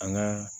An ka